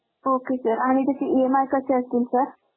ok sir आणि त्याची EMI कशी असते sir